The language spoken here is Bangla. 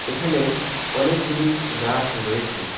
এখানে অনেকগুলি গাছ রয়েছে।